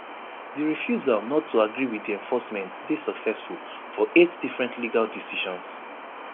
di refusal not to agree wit di enforcement dey successful for eight different legal decisions